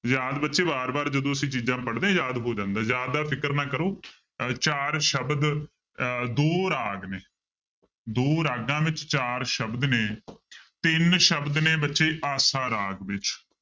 ਯਾਦ ਬੱਚੇ ਵਾਰ ਵਾਰ ਜਦੋਂ ਅਸੀਂ ਚੀਜ਼ਾਂ ਪੜ੍ਹਦੇ ਯਾਦ ਹੋ ਜਾਂਦਾ, ਯਾਦ ਦਾ ਫ਼ਿਕਰ ਨਾ ਕਰੋ ਅਹ ਚਾਰ ਸ਼ਬਦ ਅਹ ਦੋ ਰਾਗ ਨੇ ਦੋ ਰਾਗਾਂ ਵਿੱਚ ਚਾਰ ਸ਼ਬਦ ਨੇ ਤਿੰਨ ਸ਼ਬਦ ਨੇ ਬੱਚੇ ਆਸਾ ਰਾਗ ਵਿੱਚ।